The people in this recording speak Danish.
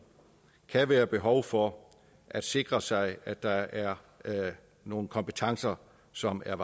kan være behov for at sikre sig at der er nogle kompetencer som er